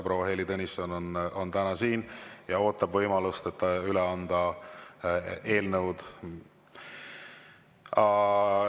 Proua Heili Tõnisson on täna siin ja ootab võimalust, et üle anda eelnõusid.